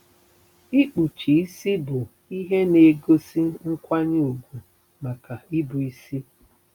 Ikpuchi isi bụ ihe na-egosi nkwanye ùgwù maka ịbụisi